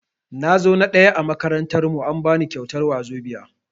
Nazo na ɗaya a makarantar mu, an bani kyautar wazobia.